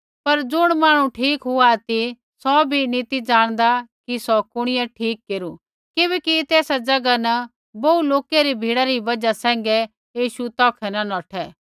पर ज़ुण मांहणु ठीक हुआ ती सौ भी नी ती जाणदा कि सौ कुणिऐ ठीक केरू किबैकि तेसा ज़ैगा न बोहू लोकै री भीड़ा री बजहा सैंघै यीशु तौखै न नौठै